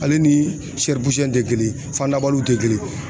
Ale ni te kelen ye. Fandabaliw te kelen ye.